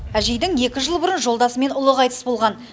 әжейдің екі жыл бұрын жолдасы мен ұлы қайтыс болған